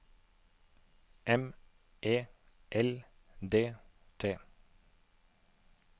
M E L D T